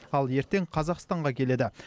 ал ертең қазақстанға келеді